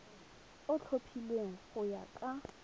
o tlhophilweng go ya ka